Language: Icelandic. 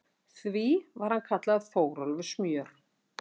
Því var hann kallaður Þórólfur smjör.